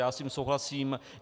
Já s tím souhlasím.